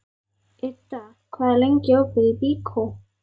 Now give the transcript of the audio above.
Idda, hvað er lengi opið í Byko?